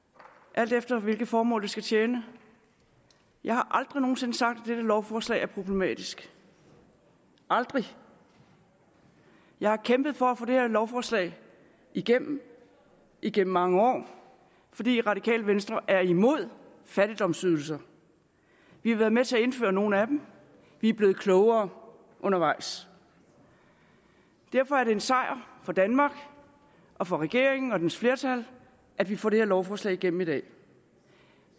alt efter hvilket formål det skal tjene jeg har aldrig nogen sinde sagt at dette lovforslag er problematisk aldrig jeg har kæmpet for at få det her lovforslag igennem gennem mange år fordi radikale venstre er imod fattigdomsydelser vi har været med til at indføre nogle af dem vi er blevet klogere undervejs og derfor er det en sejr for danmark og for regeringen og dens flertal at vi får det her lovforslag igennem i dag